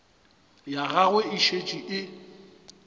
ya gagwe e šetše e